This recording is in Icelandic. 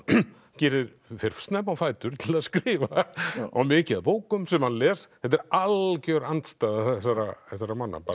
gyrðir fer snemma á fætur til að skrifa á mikið af bókum sem hann les þetta er algjör andstæða þessara þessara manna